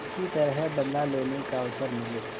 किसी तरह बदला लेने का अवसर मिले